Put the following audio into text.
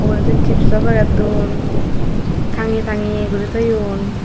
uredi chipso paketun tangeyey tangeyey guri toyon.